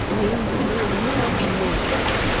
и я не видела ни одной